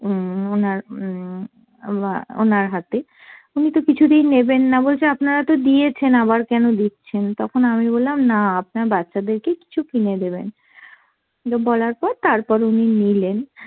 উম ওনার উম বা ওনার হাতে। উনিতো কিছুতেই নেবেন না, বলছে আপনারা তো দিয়েছেন আবার কেন দিচ্ছেন, তখন আমি বললাম না আপনার বাচ্চাদেরকে কিছু কিনে দেবেন। তো বলার পর তারপর উনি নিলেন।